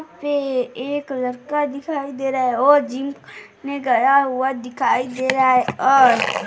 पे एक लड़का दिखाई दे रहा है और जिम मैं गया हुआ दिखाई दे रहा है और --